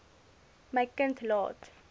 my kind laat